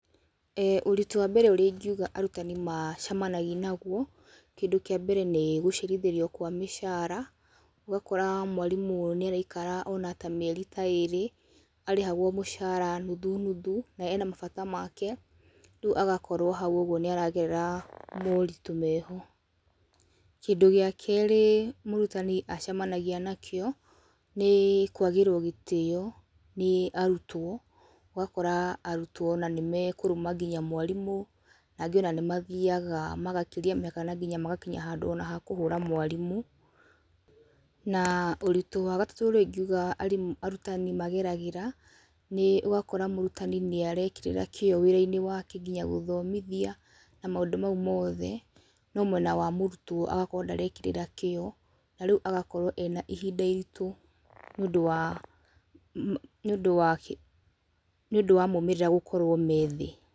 Ũritũ wa mbere ũrĩa ingiuga arutani macemanagia naguo, kĩndũ kĩa mbere nĩ gũcerithĩrio kwa mĩcara, ũgakora mwarimũ nĩ araikara ona ta mĩeri ta ĩrĩ, arĩhagwo mĩcara nuthu, nuthu, na ena mabata make, riu agakorwo hau uguo nĩ aragerera moritũ meho, kĩndũ gĩa kerĩ mũrutani acemanagia nakĩo, nĩ kwagĩrwo gĩtĩyo nĩ arutwo, ũgakora arutwo ona nĩ mekũruma nginya mwarimũ, na angĩ ona nĩ mathiaga magakĩria mĩhaka na nginya magakinya handũ ona ha kũhũra mwarimũ, na ũritũ wa gatatũ ũrĩa ingiuga ari, arutani mageragĩra, nĩ ũgakora mũrutani nĩ arekĩrĩra kĩyo wĩra-inĩ nwake nginya gũthomithia, na maũndũ mau mothe, no mwena wa mũrutwo agakorwo ndarekĩrĩra kĩyo, na rĩu agakorwo ena ihinda iritũ nĩ ũndũ wa ma, nĩ ũndũ wa kĩ, nĩ ũndũ wa maimĩrĩra gũkorwo methiĩ.